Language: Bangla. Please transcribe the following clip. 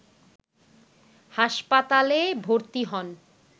হাসপাতালে ভর্তি হন